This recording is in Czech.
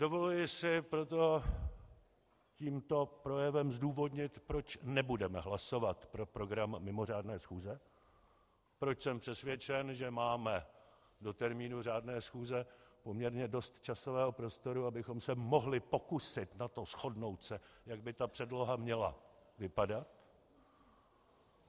Dovoluji si proto tímto projevem zdůvodnit, proč nebudeme hlasovat pro program mimořádné schůze, proč jsem přesvědčen, že máme do termínu řádné schůze poměrně dost časového prostoru, abychom se mohli pokusit o to shodnout se, jak by ta předloha měla vypadat.